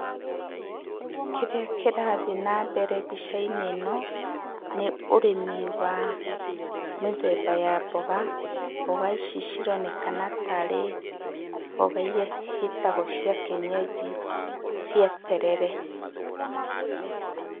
Kĩrĩa kĩrathi na mbere mbica-inĩ ĩno nĩ ũrĩmi wa mĩthemba ya mboga, mboga ici cironekana tarĩ mboga iria ciĩtagwo cia kĩenyenji, cia terere.